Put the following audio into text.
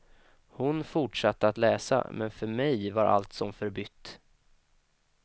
Hon fortsatte att läsa, men för mig var allt som förbytt.